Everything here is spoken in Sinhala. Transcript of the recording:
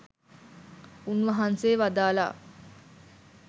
උන්වහන්සේ වදාළා